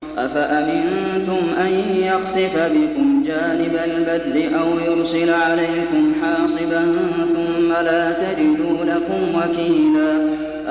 أَفَأَمِنتُمْ أَن يَخْسِفَ بِكُمْ جَانِبَ الْبَرِّ أَوْ يُرْسِلَ عَلَيْكُمْ حَاصِبًا ثُمَّ لَا تَجِدُوا لَكُمْ وَكِيلًا